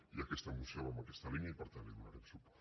i aquesta moció va en aquesta línia i per tant hi donarem suport